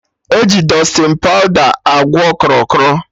Eji Dustịn pawda achụ krọ krọ